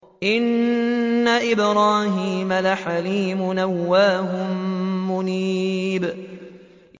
إِنَّ إِبْرَاهِيمَ لَحَلِيمٌ أَوَّاهٌ مُّنِيبٌ